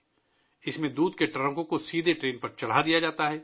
اس میں دودھ کے ٹرکوں کو براہ راست ٹرین پر لادا جاتا ہے